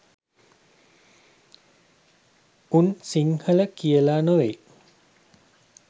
උන් සිංහල කියල නොවෙයි